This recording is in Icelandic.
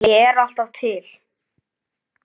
Ég er alltaf til.